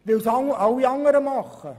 – Weil es alle anderen ebenfalls tun.